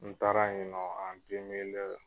N taara yen nɔ an demile